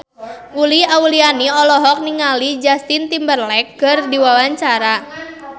Uli Auliani olohok ningali Justin Timberlake keur diwawancara